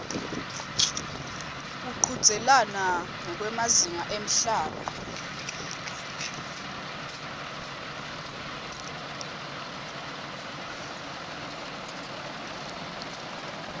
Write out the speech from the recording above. kuchudzelana ngekwemazinga emhlaba